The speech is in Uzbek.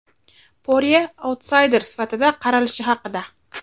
Porye autsayder sifatida qaralishi haqida.